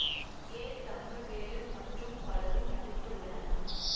ஏ தங்கவேலு மற்றும் பலரும் நடித்துள்ளனர்